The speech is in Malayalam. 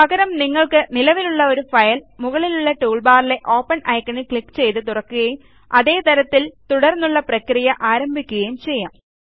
പകരം നിങ്ങൾക്ക് നിലവിലുള്ള ഒരു ഫയൽ മുകളിലുള്ള ടൂൾബാറിലെ ഓപ്പൻ ഐക്കണിൽ ക്ലിക്ക് ചെയ്ത് തുറക്കുകയും അതേ തരത്തിൽ തുടർന്നുള്ള പ്രക്രിയ ആരംഭിക്കുകയും ചെയ്യാം